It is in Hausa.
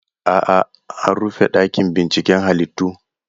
A'a, an rufe ɗakin binciken halittu.